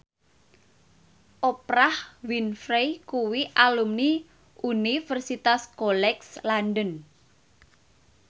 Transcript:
Oprah Winfrey kuwi alumni Universitas College London